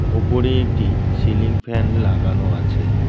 ওপরে একটি ceiling fan লাগানো আছে।